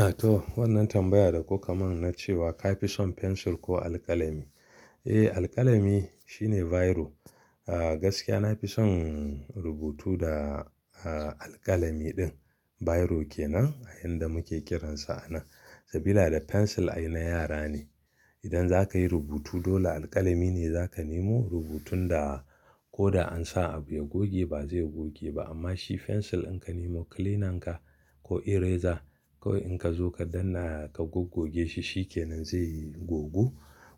A to wannan tambaya da kuka mun na cewa kai fi son pencil ko alƙalami? Eh alƙalami shine biro. Gaskiya na fi son rubutu da alƙalami din. Biro kenan a inda muke kiransa a nan. Saboda da fensil ai na yara ne. Idan za ka yi rubutu dole alƙalami ne za ka nemo rubutun da ko da ansa abu ya goge ba zai goge ba amma shi fensil in ka nemo cleaner ka ko eraser kawai in ka zo ka danna ka gogoge shi shikenan zai gogu.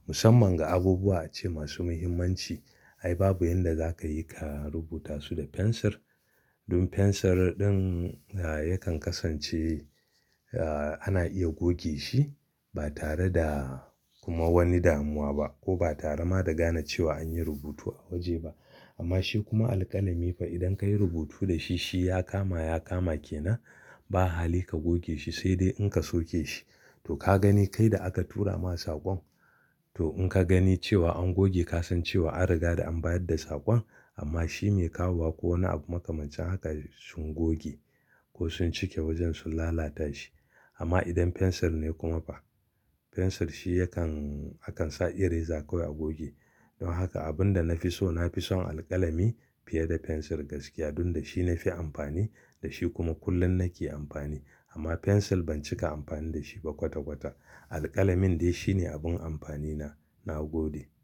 Musamman ga abubuwa ce masu muhimmanci. Ai babu inda za ka yi ka rubuta su da fensir. Domin fensir din yakan kasance ana iya goge shi ba tare da kuma wani damuwa ba ko ba tare ma da gane cewa an yi rubutu a waje ba. Amma shi kuma alƙalami fa idan ka yi rubutu da shi shi ya kama ya kama kenan ba hali ka goge shi sai dai in ka soke shi. To ka gani kai da aka tura ma saƙon to in ka gani cewa an goge ka san cewa an riga da an bayar da saƙon amma shi mai kawowa ko wani abu makamancin haka sun goge ko sun cike wajen sun lalata shi. Amma idan fensir ne kuma fa fensir shi yakan akan sa eraser kawai a goge. Don haka abun da na fi so na fi son alƙalami fiye da fensir gaskiya dun da shi na fi amfani da shi kuma kullum na ke amfani. Amma fensir ban cika amfani da shi ba kwata kwata. Alƙalamin dai shi ne abun amfani na, na gode.